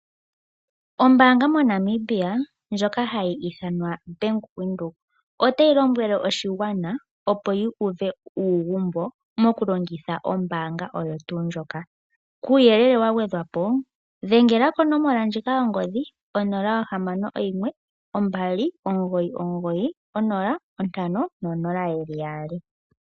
Ombaanga moNamibia ndjoka hayi ithanwa Bank Windhoek otayi lomwele oshigwana, opo yi uve uugumbo moku longitha ombaanga ndjoka. Kuuyelele wa gwedhwa po dhengela konomola ndjoka yongodhi 0612990500.